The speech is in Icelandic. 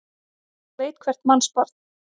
Þetta veit hvert mannsbarn.